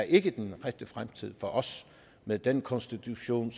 ikke er den rette fremtid for os med den konstitution